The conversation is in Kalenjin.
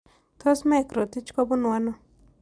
Tos' mike rotich ko bunu ano